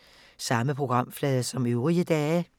Samme programflade som øvrige dage